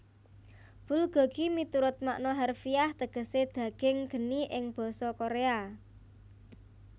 Bulgogi miturut makna harfiah tegesé daging geni ing basa Koréa